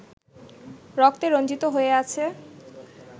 রক্তে রঞ্জিত হয়ে আছে